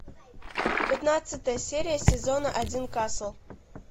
пятнадцатая серия сезона один касл